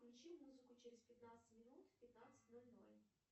включи музыку через пятнадцать минут в пятнадцать ноль ноль